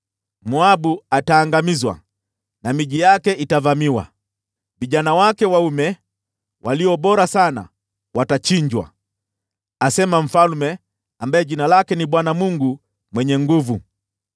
Moabu ataangamizwa na miji yake itavamiwa, vijana wake waume walio bora sana watachinjwa,” asema Mfalme, ambaye jina lake ni Bwana Mungu Mwenye Nguvu Zote.